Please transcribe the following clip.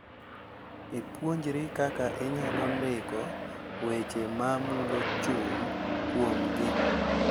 Ipuonjri kaka inyalo ndiko weche ma mulo chuny kuomgi